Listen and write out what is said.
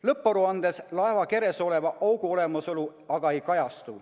Lõpparuandes laeva keres oleva augu olemasolu aga ei kajastu.